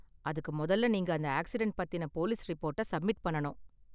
அதுக்கு, முதல்ல நீங்க அந்த ஆக்சிடென்ட் பத்தின போலீஸ் ரிப்போர்டை சப்மிட் பண்ணனும்.